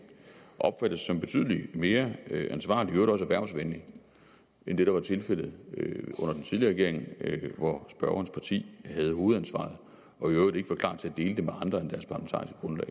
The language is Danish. opfattes som betydelig mere ansvarlig og i øvrigt også erhvervsvenlig end det der var tilfældet under den tidligere regering hvor spørgerens parti havde hovedansvaret og i øvrigt ikke var klar til at dele det med andre